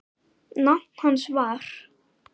Nafn hans var